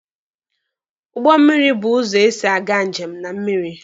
Ụgbọ mmiri bụ ụzọ esi aga njem na mmiri.